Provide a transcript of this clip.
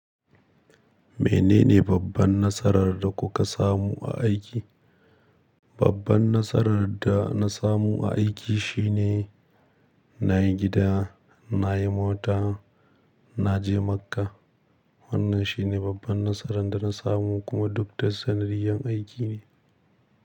Menene babban nasarar da kuka samu a aiki? Babban nasarar da na samu a aiki shine na yi gida, na yi mota, na je Makka. Wannan shine babban nasaran dana samu kuma duk ta sanadiyar aiki ne.